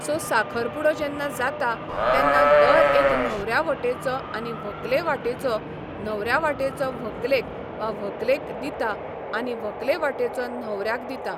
so साखर पुडो जेन्ना जाता तेन्ना दर एक न्हवऱ्या वाटेचो आनी व्हंकले वाटेचो न्हवऱ्या वाटेचो व्हंकलेक वा व्हंकलेक दिता आनी व्हंकले वाटेचो न्हवऱ्याक दिता